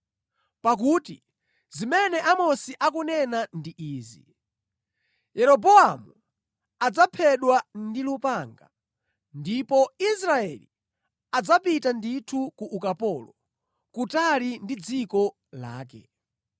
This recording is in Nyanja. Pakuti zimene Amosi akunena ndi izi: “ ‘Yeroboamu adzaphedwa ndi lupanga, ndipo Israeli adzapita ndithu ku ukapolo, kutali ndi dziko lake.’ ”